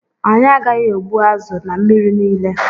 Anyị agaghị egbu azụ na mmiri niile.